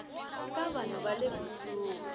ka vanhu va le kusuhi